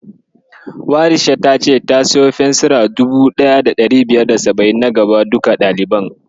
Warisha ta ce ta siyo fensira 1570 na gaba duka ɗaliban.